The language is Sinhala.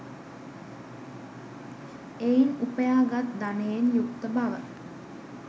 එයින් උපයා ගත් ධනයෙන් යුක්ත බව